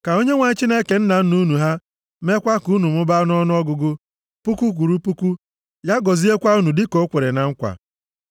Ka Onyenwe anyị Chineke nna nna unu ha meekwa ka unu mụbaa nʼọnụọgụgụ, puku kwụrụ puku, ya gọziekwa unu dịka o kwere na nkwa.